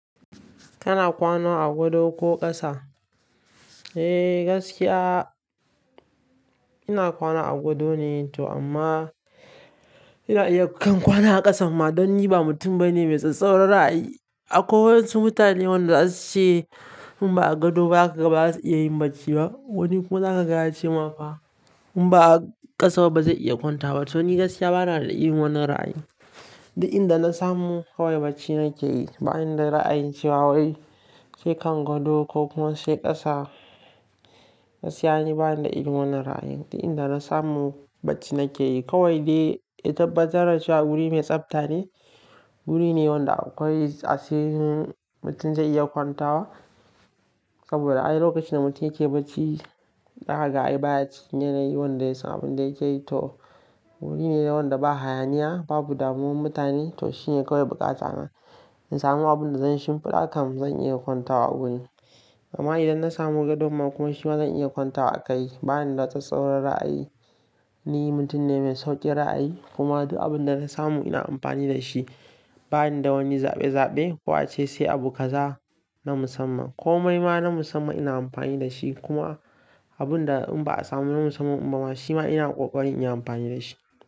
Kana kwana a gado ko ƙasa? Eh gaskiya ina kwana a gado ne to amma ina iya kan kwana a ƙasan ma don ni ba mutum bane mai tsatstsauran ra'ayi. Akwai wasu mutane wanda zasu ce in ba a gado ba zakaga baza su iya yin bacci ba. Wani kuma zaka gaya ce ma fa in ba a ƙasa ba bazai iya kwanta ba. To ni gaskiya bana da irin wannan ra'ayi. Da inda na samu kawai bacci nake yi. Ba ni da ra'ayin cewa wai sei kan gado ko kuma sei ƙasa. Gaskiya ni ba ni da irin wannan ra'ayin. Duk inda na samu barci nake yi. Kawai dai ita batarda ce wa guri mai tsafta ne. Guri ne wanda akwai asirin mutum zai iya kwantawa. Saboda ai lokacin da mutum yake barci, zakaga ai baya cikin yanayi wanda yasan abin da yake yi to wuri nede wanda ba hayaniya, babu damuwan mutane to shine kawai buƙata na. In samu abin da zan shimfiɗa kam zan iya kwanta wa a gurin. Amma idan na samu gadon kuma shima zan iya kwanta a kai. Ba ni da tsatstsauran ra'ayi. Ni mutum ne mai sauƙin ra'ayi kuma duk abin da na samu ina amfani da shi. Ba ni da wani zaɓe zaɓe ko ace sai abu kaza na musamman ko mai ma na musamman ina amfani da shi kuma abin da in ba a samu na musamman ba shima ina ƙoƙari in yi amfani da shi.